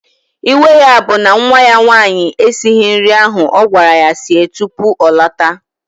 Iwe ya bụ na nwa ya nwaanyị esighị nri ahụ ọ gwara ya sie tupu ọ lọta